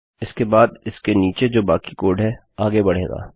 इसके बाद इसके नीचे जो बाकी कोड है आगे बढ़ेगा